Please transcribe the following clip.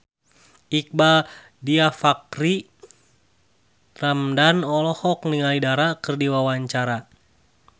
Iqbaal Dhiafakhri Ramadhan olohok ningali Dara keur diwawancara